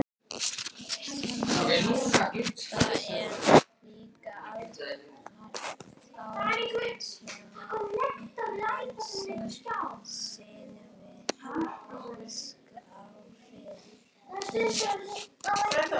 Þannig að þetta er líka ágætis náma fyrir steinasafnara?